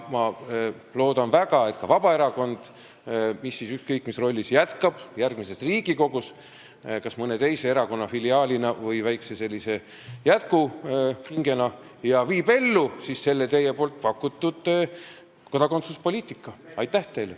Ma loodan väga, et ka Vabaerakond ükskõik mis rollis jätkab järgmises Riigikogus, kas mõne teise erakonna filiaalina või sellise väikese jätkuhingena ning viib ellu selle teie pakutud kodakondsuspoliitika.